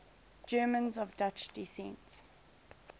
germans of dutch descent